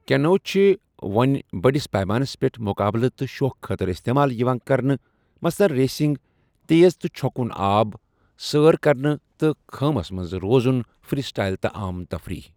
کیٚنو چھِ وۄنہِ بٔڑِس پیمانس پیٚٹھ مُقابلہٕ تہٕ شوخہٕ خٲطرٕ اِستعمال یِوان کرنہٕ، مثلاً ریسِنگ، تیز تہ چھكوٗن آب، سٲر کَرِنہِ تہٕ خٲمَس منٛز روزُن، فِرٛی سٕٹایِل تہٕ عام تفریٖح۔